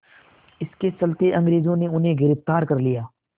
इसके चलते अंग्रेज़ों ने उन्हें गिरफ़्तार कर लिया